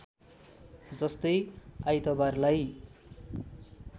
जस्तै आइतबारलाई